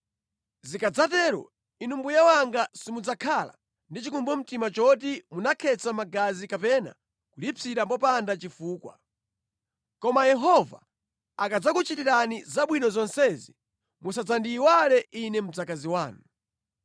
Zikadzatero, inu mbuye wanga simudzakhala ndi chikumbumtima choti munakhetsa magazi kapena kulipsira popanda chifukwa. Koma Yehova akadzakuchitirani zabwino zonsezi musadzandiyiwale ine mdzakazi wanu.”